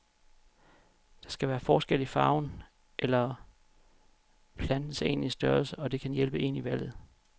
Der kan være forskel i farven eller plantens endelige størrelse, og det kan hjælpe en i valget.